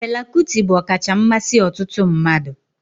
Fela Kuti bụ ọkacha mmasị ọtụtụ mmadụ